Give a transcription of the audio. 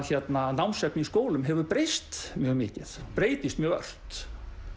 námsefni í skólum hefur breyst mjög mikið breytist mjög ört